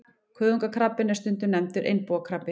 Kuðungakrabbinn er stundum nefndur einbúakrabbi.